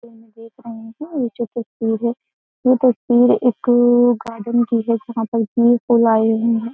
देख रहे हैं ये जो तस्वीर है ये तस्वीर एक गार्डन की है जहां पर है।